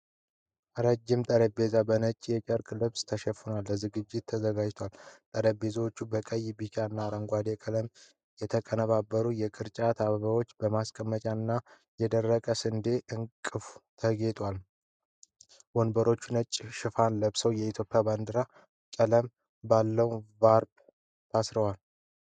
ረዣዥም ጠረጴዛዎች በነጭ የጨርቅ ልብሶች ተሸፍነው ለዝግጅት ተዘጋጅተዋል። ጠረጴዛዎቹ በቀይ፣ ቢጫ እና አረንጓዴ ቀለም የተቀነባበሩ የቅርጫት የአበባ ማስቀመጫዎች እና የደረቀ ስንዴ እቅፎች ተጌጠዋል። ወንበሮቹ ነጭ ሽፋን ለብሰው የኢትዮጵያን ባንዲራ ቀለሞች ባለው ሻርፕ ታስረዋል።